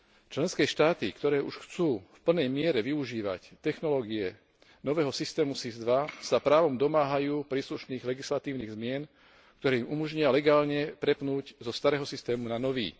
Členské štáty, ktoré už chcú v plnej miere využívať technológie nového systému SIS II, sa právom domáhajú príslušných legislatívnych zmien, ktoré im umožnia legálne prepnúť zo starého systému na nový.